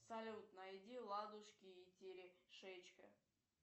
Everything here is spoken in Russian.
салют найди ладушки и терешечка